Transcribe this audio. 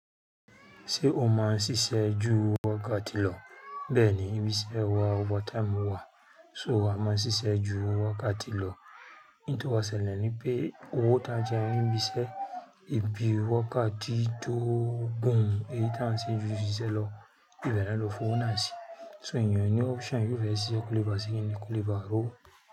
Ṣé o máa ń ṣiṣẹ́ ju wákàtí lọ? Bẹ́ẹ̀ ni, ìbísẹ́ wa overtime wà, so a máa ń ṣiṣẹ́ ju wákàtí lọ. N to wá sẹlẹ̀ ni pé owó táa jẹ́un ń bí iṣẹ́, ibi wákàtí tó gùn, èyí táa ń ṣe ju ṣíṣe lọ, ìbẹ̀ naa lọ f'owo náà sí. So ènìyàn o ní option yóò fẹ́ ṣiṣẹ́ kólé báṣe kini kólé bá rowó.